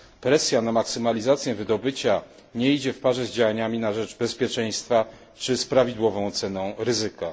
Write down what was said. Presja na maksymalizację wydobycia nie idzie w parze z działaniami na rzecz bezpieczeństwa czy z prawidłową oceną ryzyka.